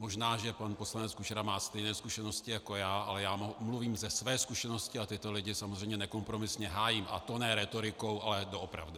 Možná že pan poslanec Kučera má stejné zkušenosti jako já, ale já mluvím ze své zkušenosti a tyto lidi samozřejmě nekompromisně hájím, a to ne rétorikou, ale doopravdy.